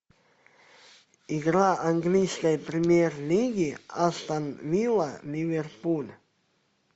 игра английской премьер лиги астон вилла ливерпуль